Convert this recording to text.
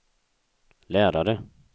lärare